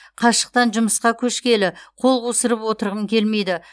қашықтан жұмысқа көшкелі қол қусырып отырғым келмейді